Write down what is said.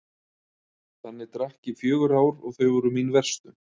Þannig drakk ég í fjögur ár og þau voru mín verstu.